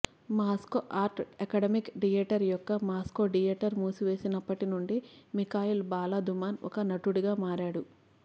Moscow art academic theatre యొక్క Moscow theatre మూసివేసినప్పటి నుండి మిఖాయిల్ బాలదూమాన్ ఒక నటుడిగా మారాడు